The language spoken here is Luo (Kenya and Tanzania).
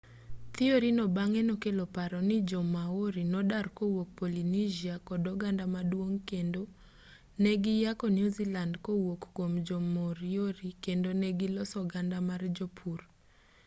thiori no bang'e nokelo paro mar ni jo-maori nodar kowuok polynesia kod oganda maduong' kendo ne giyako new zealand kowuok kuom jo-moriori kendo ne giloso oganda mar jopur